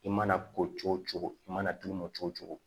I mana ko cogo cogo i mana d'u ma cogo o cogo